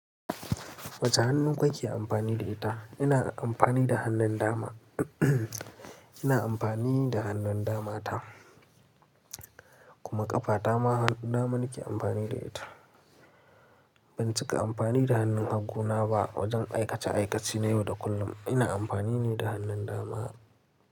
Wace hannu kake amfani da ita? Ina amfani da hannun dama. Ina amfani da hannun dama ta kuma ƙafa ta ma hannu dama nake amfani da ita. Ban cika amfani da hannun hagu na ba wajen aikace aikace na yau da kullum. Ina amfani ne da hannun dama.